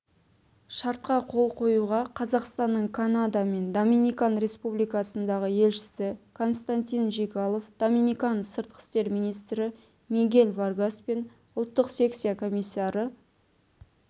шартқа қол қоюға қазақстанның канада мен доминикан республикасындағы елшісі константин жигалов доминикан сыртқы істер министрі мигель варгас пен ұлттық секция комиссары